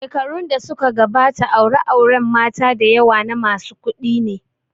Shekarun da suka gabata aure auren mata dayawa na masu kuɗi ne